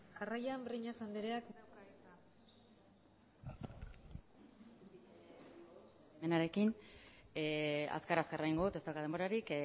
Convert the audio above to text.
jarraian breñas andreak dauka hitza zure baimenarekin azkar azkar egingo dut ez daukat denborarik